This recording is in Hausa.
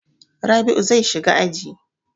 Rabl'u zai shiga aji.